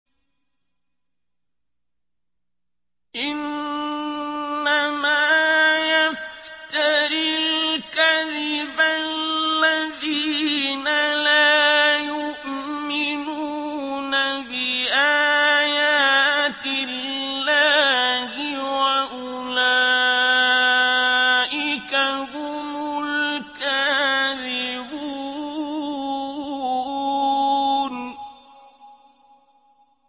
إِنَّمَا يَفْتَرِي الْكَذِبَ الَّذِينَ لَا يُؤْمِنُونَ بِآيَاتِ اللَّهِ ۖ وَأُولَٰئِكَ هُمُ الْكَاذِبُونَ